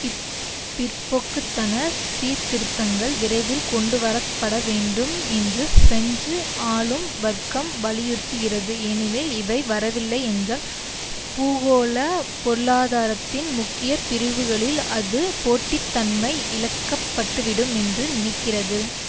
இப்பிற்போக்குத்தன சீர்திருத்தங்கள் விரைவில் கொண்டுவரப்பட வேண்டும் என்று பிரெஞ்சு ஆளும் வர்க்கம் வலியுறுத்கிறது ஏனெனில் இவை வரவில்லை என்றால் பூகோள பொருளாதாரத்தின் முக்கிய பிரிவுகளில் அது போட்டித்தன்மை இழக்கப்பட்டுவிடும் என்று நினைக்கிறது